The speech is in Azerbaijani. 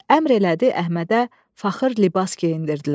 Əmr elədi Əhmədə fəxr libas geyindirdilər.